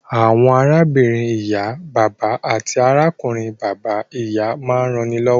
Àwọn arábìnrin ìyá/bàbà àti arákùnrin bàbá/ìyá máa ń rannilọ́wọ́